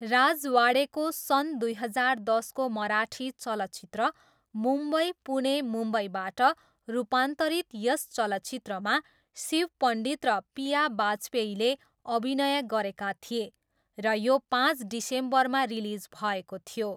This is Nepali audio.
राजवाडेको सन् दुई हजार दसको मराठी चलचित्र मुम्बई पुणे मुम्बईबाट रूपान्तरित यस चलचित्रमा शिव पण्डित र पिया बाजपेयीले अभिनय गरेका थिए र यो पाँच डिसेम्बरमा रिलिज भएको थियो।